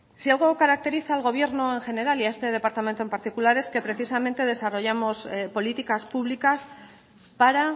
si algo caracteriza al gobierno en general y a este departamento en particular es que precisamente desarrollemos políticas públicas para